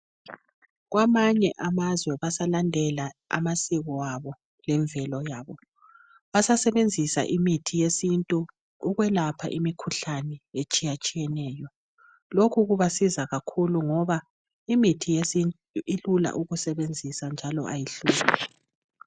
Kwamanye amazwe basalandela amasiko abo lemvelo yabo basasebenzisa imithi yesintu ukwelapha imikhuhlane etshiyatshiyeneyo lokhu kubasiza kakhulu ngoba imithi yesintu ilula ukusebenzisa njalo kayihluphi.